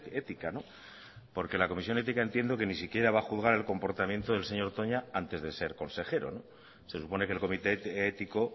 ética porque la comisión ética entiendo que ni siquiera va a juzgar el comportamiento del señor toña antes de ser consejero se supone que el comité ético